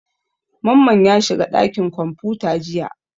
Mamman ya shiga ɗakin kwamfuta jiya.